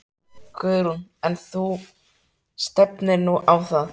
Guðrún: En þú stefnir nú á það?